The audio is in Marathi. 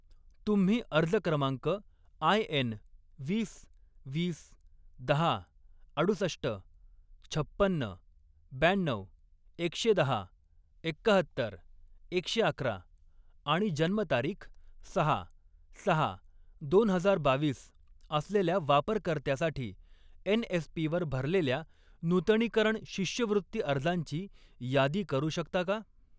तुम्ही अर्ज क्रमांक आयएन वीस, वीस, दहा, अडुसष्ट, छप्पन्न, ब्याण्णऊ, एकशे दहा, एक्काहत्तर, एकशे अकरा आणि जन्मतारीख सहा सहा दोन हजार बावीस असलेल्या वापरकर्त्यासाठी एन.एस.पी. वर भरलेल्या नूतनीकरण शिष्यवृत्ती अर्जांची यादी करू शकता का?